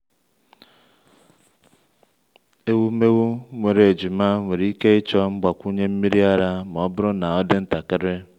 ewumewụ nwere ejima nwere ike ịchọ mgbakwunye nmiri ara ma ọ bụrụ na ọ dị ntakịrị.